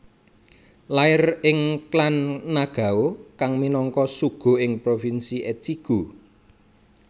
Lair ing klan Nagao kang minangka shugo ing provinsi Echigo